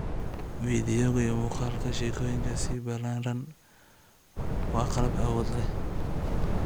Fiidiyowga, iyo muuqaalka sheekooyinka si ballaaran, waa qalab awood leh.